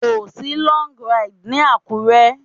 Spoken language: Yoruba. Kò sí Log Ride ní Àkúré.